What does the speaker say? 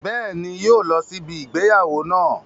Bẹ́ẹ̀ni, yóò lọ sí ibi ìgbéyàwó náà